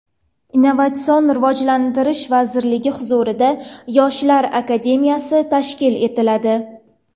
Innovatsion rivojlanish vazirligi huzurida Yoshlar akademiyasi tashkil etiladi.